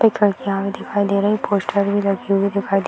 एक लड़कियां भी दिखाई दे रही पोस्टर भी लगी दिखाई दे --